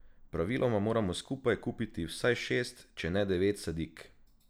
Praviloma moramo skupaj kupiti vsaj šest, če ne devet sadik.